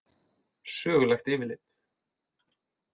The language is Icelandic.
Sögulegt yfirlit.